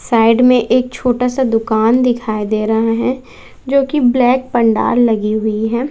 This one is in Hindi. साइड में एक छोटा सा दुकान दिखाई दे रहा है जोकि ब्लैक पंडाल लगी हुई हैं।